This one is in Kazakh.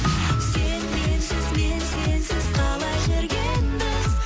сен менсіз мен сенсіз қалай жүргенбіз